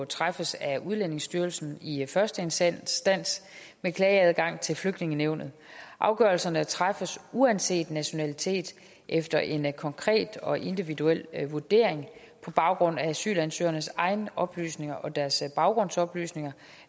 træffes af udlændingestyrelsen i første instans med klageadgang til flygtningenævnet afgørelserne træffes uanset nationalitet efter en konkret og individuel vurdering på baggrund af asylansøgernes egne oplysninger og deres baggrundsoplysninger